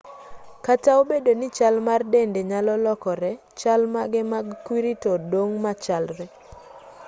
kata obedo ni chal mar dende nyalo lokore chal mage mag kwiri to dong' machalre